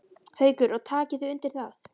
Haukur: Og takið þið undir það?